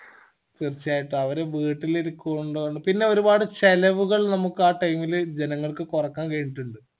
തീർച്ചയായിട്ടും അവര് വീട്ടില് ഇരിക്ക്‌ഒന്നൊണ്ട് പിന്നെ ഒരുപാട് ചെലവുകൾ നമ്മക്ക് ആ time ഇൽ ജനങ്ങൾക്ക് കൊറക്കാൻ കഴിഞ്ഞിട്ടിണ്ട്